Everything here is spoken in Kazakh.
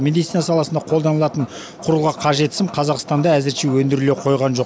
медицина саласында қолданылатын құрылғыға қажет сым қазақстанда әзірше өндіріле қойған жоқ